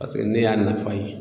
Paseke ne y'a nafa ye